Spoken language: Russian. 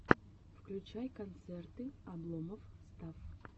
включай концерты обломов стафф